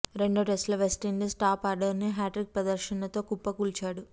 రెండో టెస్ట్ లో West Indies top order ని హ్యాట్రిక్ ప్రదర్శనతో కుప్పకూల్చాడు